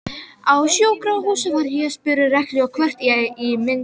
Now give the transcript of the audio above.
Á sjúkrahúsinu var ég spurð reglulega hvort ég myndi eitthvað.